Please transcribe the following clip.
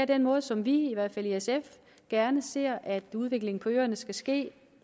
den måde som vi i hvert fald i sf gerne ser at udviklingen på øerne skal ske